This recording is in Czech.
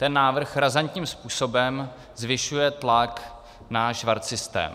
Ten návrh razantním způsobem zvyšuje tlak na švarcsystém.